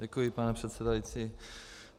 Děkuji, pane předsedající.